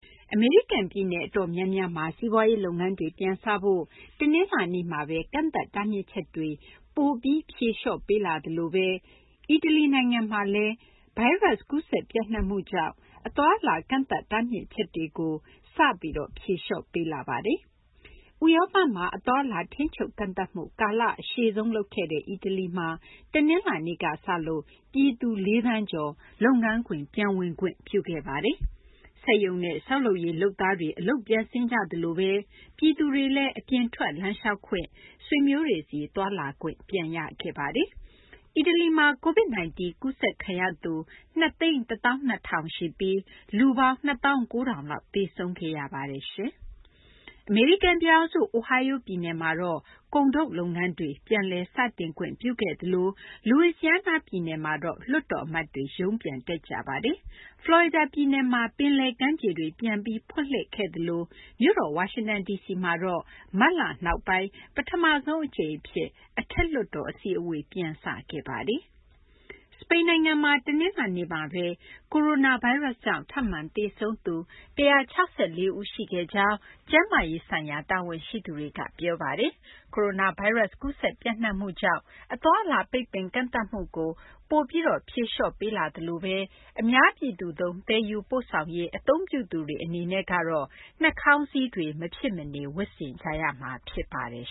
အမေရိကန် ပြည်နယ် အတော်များများမှာ စီးပွားရေး လုပ်ငန်းတွေ ပြန်စဖို့ တနလာၤနေ့က ကန့်သတ်ထားမြစ်ချက်တွေ ပိုပြီး ဖြေလျှော့ပေးလာသလိုဘဲ အီတလီနိုင်ငံမှာ ကိုရိုနာဗိုင်းရပ်စ် ကူးစက် ပျံ့နှံ့မှုကြောင်း အသွားအလာ ကန့်သတ်တားမြစ်ချက်တွေကို တနလာၤနေ့ကစလို့ ဖြေလျှော့ပေးလာပါတယ်။ ဥရောပမှာ အသွားအလာ ထိန်းချုပ် ကန့်သတ်မှု ကာလ အရှည်ဆုံး လုပ်ခဲ့တဲ့ အီတလီမှာ တနလာၤနေ့က စလို့ ပြည်သူ ၄ သန်းကျော် လုပ်ငန်းခွင် ပြန်ဝင်ခွင့် ပြုခဲ့ပါတယ်။ စက်ရုံနဲ့ ဆောက်လုပ်ရေး လုပ်သားတွေ အလုပ်ပြန်ဆင်းကြသလိုဘဲ ပြည်သူတွေလည်း အပြင်ထွက် လမ်းလျှောက်ခွင့်၊ ဆွေမျိုးတွေဆီ သွားလာခွင့် ပြန်ရခဲ့ပါတယ်။ အီတလီမှာ COVID 19 ကူးစက်ခံရသူ ၂၁၂,၀၀၀ ရှိပြီး လူပေါင်း ၂၉,၀၀၀ လောက် သေဆုံးခဲ့ရပါတယ်။ အမေရိကန် ပြည်ထောင်စု အိုဟိုင်းယိုး ပြည်နယ်မှာတော့ ကုန်ထုတ်လုပ်ငန်းတွေ ပြန်လည် စတင်ခွင့်ပြုခဲ့သလို Louisiana ပြည်နယ်မှာလည်း လွှတ်တော် အမတ်တွေ ရုံးပြန်တက်ကြပါတယ်။ Florida ပြည်နယ်မှာတော့ ပင်လယ် ကမ်းခြေတွေ ပြန်လည် ဖွင့်လှစ်ခဲ့သလို မြို့တော် ဝါရှင်တန်မှာတော့ မတ်လနောက်ပိုင်း ပထမဆုံး အကြိမ်အဖြစ် အထက်လွှတ်တော် အစည်းအဝေး ပြန်စခဲ့ပါတယ်။ စပိန်နိုင်ငံမှာတော့ တနလာၤနေ့မှာဘဲ ကိုရိုနာဗိုင်းရပ်စ်ကြောင့် ထပ်မံသေဆုံးသူ ၁၆၄ ဦး ရှိခဲ့ကြောင်း ကျန်းမာရေးဆိုင်ရာ တာဝန်ရှိသူတွေက ပြောဆိုပါတယ်။ ကိုရိုနာဗိုင်းရပ်စ် ကူးစက် ပျံ့နှံ့မှုကြောင့် အသွားအလာ ပိတ်ပင်ကန့်သတ်မှုကို ပိုပြီး ဖြေလျှော့ပေးလာပြီး အများပြည်သူသုံး သယ်ယူပို့ဆောင်ရေး အသုံးပြုသူတွေ အနေနဲ့ ကတော့ နှာခေါင်းစည်းတွေ မဖြစ်မနေ ဝတ်ဆင်ကြရမှာ ဖြစ်ပါတယ်